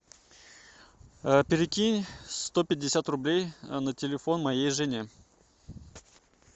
перекинь сто пятьдесят рублей на телефон моей жене